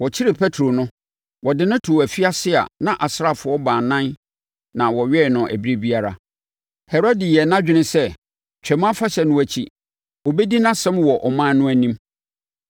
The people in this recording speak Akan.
Wɔkyeree Petro no, wɔde no too afiase a na asraafoɔ baanan na wɔwɛn no ɛberɛ biara. Herode yɛɛ nʼadwene sɛ, Twam Afahyɛ no akyi, ɔbɛdi nʼasɛm wɔ ɔman no anim.